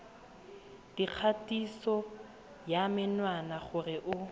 dikgatiso ya menwana gore o